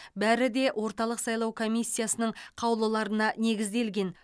бәрі де орталық сайлау комиссиясының қаулыларына негізделген